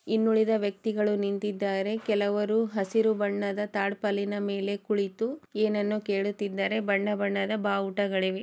ಇನ್ನುಳಿದ ವ್ಯಕ್ತಿಗಳು ನಿಂತಿದ್ದಾರೆ ಕೆಲವರು ಹಸಿರು ಬಣ್ಣದ ತಾಟಪಾಲಿನ ಮೇಲೆ ಕುಳಿತು ಏನನ್ನೋ ಕೇಳುತ್ತಿದ್ದಾರೆ ಬಣ್ಣ ಬಣ್ಣದ ಬಾವುಟಗಳಿವೆ.